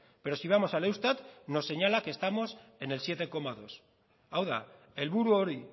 pero si vamos al eustat nos señala que estamos en el siete coma dos hau da helburu hori